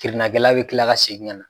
Kirina kɛla bɛ kila ka segin ka na.